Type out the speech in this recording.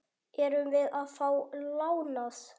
Erum við að fá lánað?